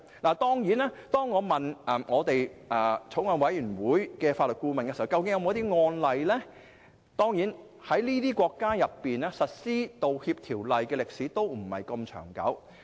我曾詢問法案委員會的法律顧問，在這方面有沒有案例，但這些國家實施道歉法例的歷史都不是十分長久。